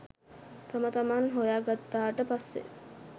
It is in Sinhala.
තම තමන් හොයා ගත්තාට පස්සේ